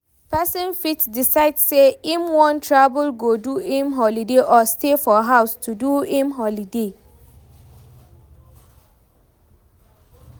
Persin fit decide say im won travel go do im holiday or stay for house do im holiday